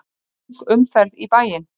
Þung umferð í bæinn